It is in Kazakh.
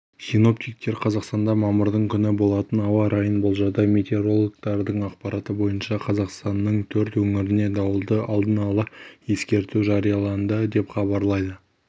синоптиктер қазақстанда мамырдың күні болатын ауа райын болжады метеорологтардың ақпараты бойынша қазақстанның төрт өңіріне дауылды алдын ала ескерту жарияланды деп хабарлайды